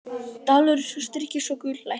Dalur styrkist og gull lækkar